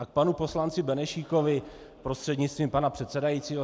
A k panu poslanci Benešíkovi prostřednictvím pana předsedajícího.